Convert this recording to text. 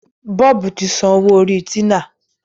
Bob tí sàn owó Orí Tina